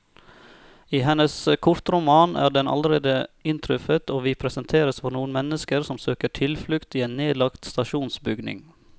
I hennes kortroman er den allerede inntruffet, og vi presenteres for noen mennesker som søker tilflukt i en nedlagt stasjonsbygning.